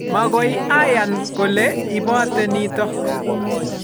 mag'oy ayan kole ipote nitok